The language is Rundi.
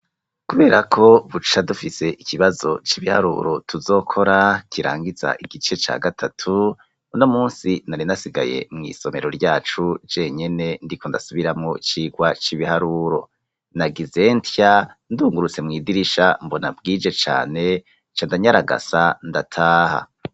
Kuberako buca dufise ikibazo c’ibiharuro tuzokora kirangiza igice ca gatatu, uno munsi nari nasigaye mw’isomero ryacu jenyene ndiko ndasubiramwo icigwa c’ibiharuro, na gize ntya ndungurutse mw’idirisha mbona bwije cane candanyaragasa ndataha.